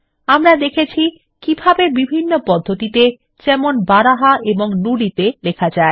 আমরা দেখেছি কিভাবে বিভিন্ন পদ্ধতিতে যেমন বারাহা এবং নুদি তে লেখা যায়